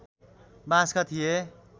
बाँसका थिए